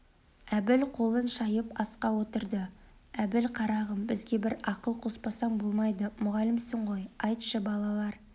әбіл қолын шайып асқа отырды әбіл қарағым бізге бір ақыл қоспасаң болмайды мұғалімсің ғой айтшы балалар